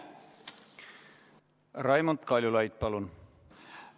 Raimond Kaljulaid, palun!